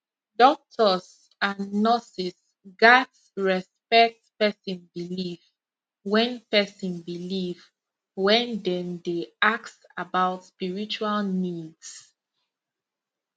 doctors and nurses gats respect person belief when person belief when dem dey ask about spiritual needs